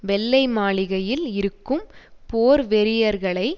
வெள்ளை மாளிகையில் இருக்கும் போர்வெறியர்களை